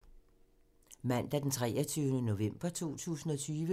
Mandag d. 23. november 2020